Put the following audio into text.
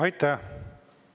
Aitäh!